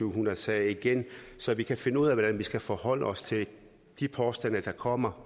hundrede sager igen så vi kan finde ud af hvordan vi skal forholde os til de påstande der kommer